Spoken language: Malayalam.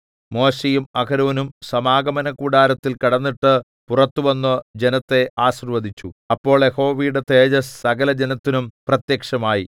മോശെയും അഹരോനും സമാഗമനകൂടാരത്തിൽ കടന്നിട്ട് പുറത്തു വന്നു ജനത്തെ ആശീർവ്വദിച്ചു അപ്പോൾ യഹോവയുടെ തേജസ്സ് സകലജനത്തിനും പ്രത്യക്ഷമായി